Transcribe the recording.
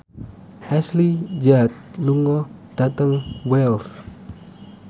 Ashley Judd lunga dhateng Wells